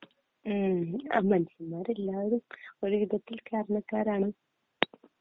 മനുഷ്യന്മാരെല്ലാരും ഒരു വിധത്തില്‍ കാരണക്കാരാണ്